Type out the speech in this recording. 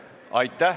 Kohtumiseni homme!